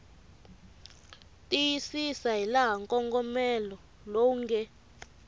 tiyisisa hilaha nkongomelo lowu nge